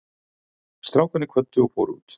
Strákarnir kvöddu og fóru út.